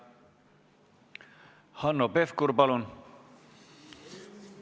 Hanno Pevkur, palun!